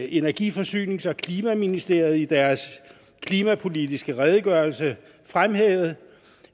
energi forsynings og klimaministeriet i deres klimapolitiske redegørelse fremhævet